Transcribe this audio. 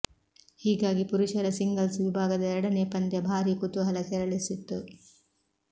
ಹೀಗಾಗಿ ಪುರುಷರ ಸಿಂಗಲ್ಸ್ ವಿಭಾಗದ ಎರಡನೇ ಪಂದ್ಯ ಭಾರೀ ಕುತೂಹಲ ಕೆರಳಿಸಿತ್ತು